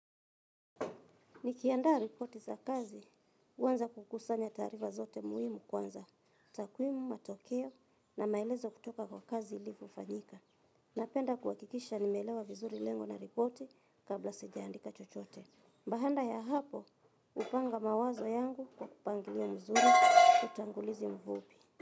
Nikiandaa ripoti za kazi, huanza kukusanya taarifa zote muhimu kwanza, tawimu matokeo na maelezo kutoka kwa kazi ilivyofanyika. Napenda kuhakikisha nimeelewa vizuri lengo la ripoti kabla sijaandika chochote. Baada ya hapo, hupanga mawazo yangu kwa upangilio mzuri utangulizi mfupi.